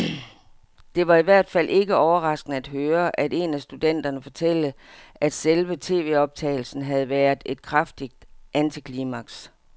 Det var i hvert fald ikke overraskende at høre en af studenterne fortælle, at selve tvoptagelsen havde været et kraftigt antiklimaks.